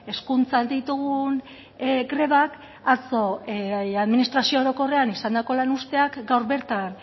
hezkuntzan ditugun grebak atzo administrazio orokorrean izandako lan uzteak gaur bertan